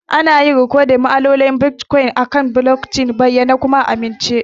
Ana yin rikodin ma'amaloli na Bitcoin akan blockchain a bayyane kuma amintacce.